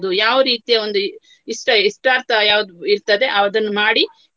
ಯಾವ ರೀತಿಯ ಒಂದು ಇಷ್ಟ~ ಇಷ್ಟಾರ್ಥ ಯಾವುದು ಇರ್ತದೆ ಅದನ್ನು ಮಾಡಿ.